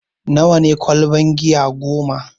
Nawa ne ƙwalban giya goma?